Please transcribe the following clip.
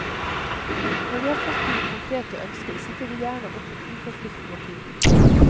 Når vi har fått dine konkrete ønsker setter vi gjerne opp et uforpliktende tilbud.